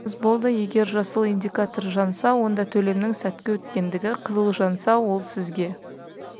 валидаторға қойсаңыз болды егер жасыл индикатор жанса онда төлемнің сәтті өткендігі қызыл жанса ол сізге